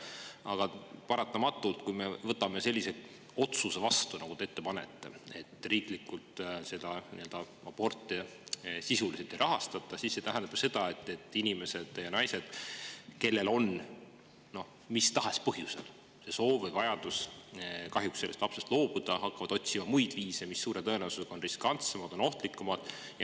Aga paratamatult, kui me võtame vastu sellise otsuse, nagu te ette panete, et riiklikult aborte sisuliselt ei rahastata, siis see tähendab ka seda, et naised, kellel on mis tahes põhjusel soov või vajadus kahjuks lapsest loobuda, hakkavad otsima muid viise, mis suure tõenäosusega on riskantsemad ja ohtlikumad.